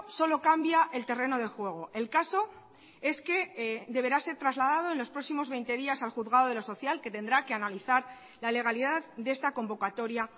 solo cambia el terreno de juego el caso es que deberá ser trasladado en los próximos veinte días al juzgado de lo social que tendrá que analizar la legalidad de esta convocatoria